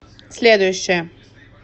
следующая